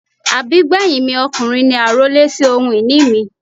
Àbígbẹ́yìn mi ọkùnrin ni àrólé sì ohun ìní mi.